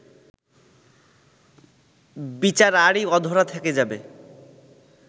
বিচার আরই অধরা থেকে যাবে